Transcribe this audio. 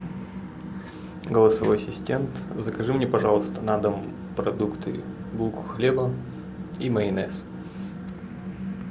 голосовой ассистент закажи мне пожалуйста на дом продукты булку хлеба и майонез